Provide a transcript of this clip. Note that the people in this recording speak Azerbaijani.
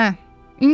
Nə.